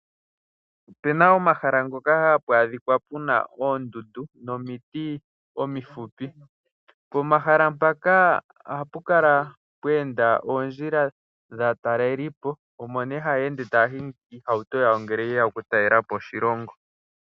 Opu na omahala ngoka hapu adhikwa pu na oondundu nomiti omifupi pomahala mpaka ohapu kala pweenda oondjila dhaatalelipo omo ne haya ende taya hingi oohauto dhawo ngele yeya okutalelapo oshilongo.